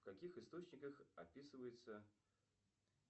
в каких источниках описывается